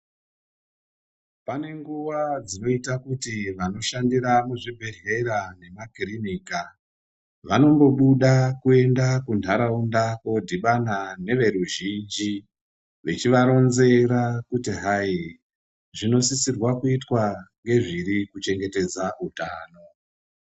Pane nguwa dzinoita kuti vanoshandira muzvibhedhlera nemakirinika vanombobuda kuenda kuntaraunda kodhibana neveruzhinji vechivaronzera kuti hai zvinosisa kuitwa ngezviri kuchengetedza utano.